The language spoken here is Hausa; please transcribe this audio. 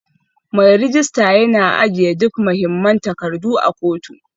Mai rejista yana ajiye duk mahimman takardu a kotu